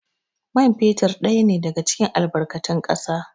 Man fetur ɗaya ne daga cikin albarkatun ƙasa